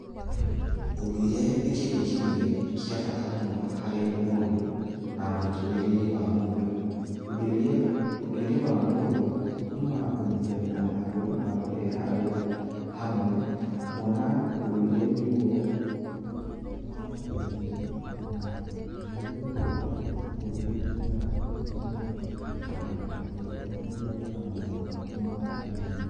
Ũndũire nĩ kĩndũ kĩmwe kĩa bata mũno harĩ mũndũ, na mũtũrire-inĩ wa mũndũ, ũnduire ũnduire wa mũndũ ũtumaga kũnyitithania andũ na kũrehe andũ hamwe kuona ũndũire nĩgũo wakũbire na ũndũire nĩgũo wakũbire mĩtũgo mĩega na ĩgĩkũhotithia gĩka maũndũ ma omũthenya.